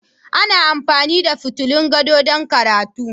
Ana amfani da fitulun gado don karatu